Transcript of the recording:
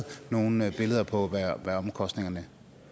nogle billeder på hvad omkostningerne